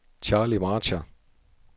Charlie Marcher